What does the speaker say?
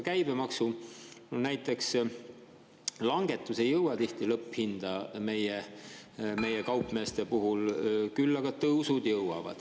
Käibemaksu langetus ei jõua tihti lõpphinda meie kaupmeeste puhul, aga selle tõstmine jõuab.